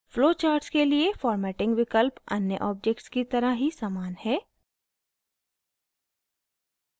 flowcharts के लिए formatting विकल्प अन्य objects की तरह ही समान है